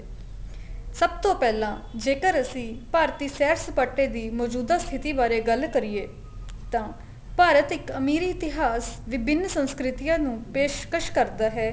ਸਭ ਤੋਂ ਪਹਿਲਾਂ ਜੇਕਰ ਅਸੀਂ ਭਾਰਤੀ ਸੈਰ ਸਪਾਟੇ ਦੀ ਮੋਜੂਦਾ ਸਥਿਤੀ ਬਾਰੇ ਗੱਲ ਕਰੀਏ ਤਾਂ ਭਾਰਤ ਇੱਕ ਅਮੀਰ ਇਤਿਹਾਸ ਵਿਭਿੰਨ ਸੰਸਕ੍ਰਿਤੀਆਂ ਨੂੰ ਪੇਸ਼ਕਸ਼ ਕਰਦਾ ਹੈ